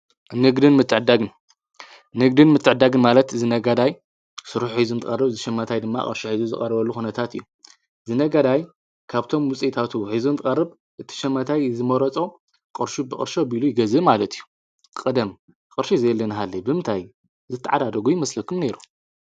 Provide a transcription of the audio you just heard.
ንንግድን ምተዕድዳግን ማለት ዝነጋዳይ ሥራኅ ኂዙም ቀርብ ዝሸመታይ ድማ ቕርሸ ሒዙ ዝቐርበሉ ኾነታት እዮ። ዝነጋዳይ ካብቶም ሙፂታቱ ኂዙም ቀርብ እትሸመታይ ዝመረጾ ቕርሹ ብቕርሸ ብኢሉ ይገዝ ማለት እዩ። ቕደም ቕርሺ ዘየሊንሃለይ ብምታይ ዝትዕዳደጉ ይመስለኩም ነይ?